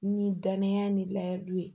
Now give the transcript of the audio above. Ni danaya ni layiru ye